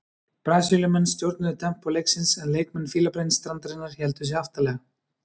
Brasilíumenn stjórnuðu tempó leiksins en leikmenn Fílabeinsstrandarinnar héldu sig aftarlega.